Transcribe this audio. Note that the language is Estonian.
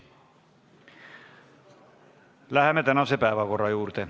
Läheme tänase päevakorra juurde.